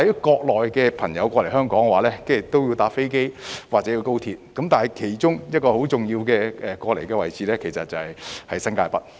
國內的朋友來港會乘坐飛機或高速鐵路，但亦可經其中一個很重要的位置，就是新界北。